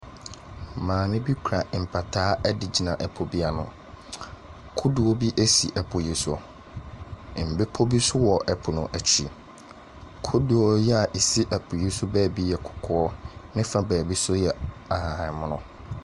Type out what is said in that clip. Maame bi kura mpataa wɔ po bi ano, kodoɔ bi si po yi so, mbepɔ bi nso wɔ po n’akyi, kodoɔ yi a ɛsi po yi so beebi yɛ kɔkɔɔ, ne fa beebi nso yɛ ahabanmono.